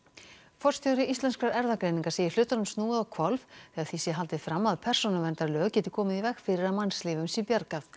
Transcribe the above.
forstjóri Íslenskrar erfðagreiningar segir hlutunum snúið á hvolf þegar því sé haldið fram að persónuverndarlög geti komið í veg fyrir að mannslífum sé bjargað